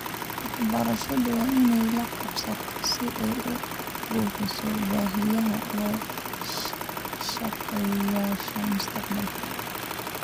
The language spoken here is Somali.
Waxbarashadu waa in ay la qabsato si ay u buuxiso baahiyaha loo shaqeeyayaasha mustaqbalka.